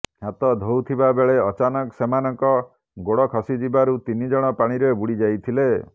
ହାତ ଧୋଉଥିବାବେଳେ ଅଚାନକ ସେମାନଙ୍କ ଗୋଡ ଖସି ଯିବାରୁ ତିନିଜଣ ପାଣିରେ ବୁଡି ଯାଇଥିଲେ